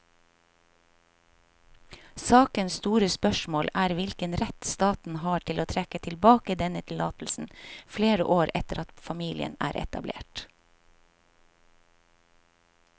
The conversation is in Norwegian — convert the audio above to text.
Sakens store spørsmål er hvilken rett staten har til å trekke tilbake denne tillatelsen flere år etter at familien er etablert.